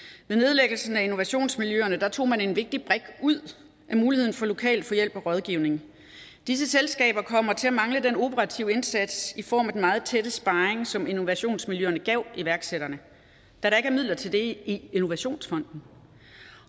med nedlæggelsen af innovationsmiljøerne tog man en vigtig brik ud af muligheden for lokalt at få hjælp og rådgivning disse selskaber kommer til at mangle den operative indsats i form af den meget tætte sparring som innovationsmiljøerne gav iværksætterne da der ikke er midler til det i innovationsfonden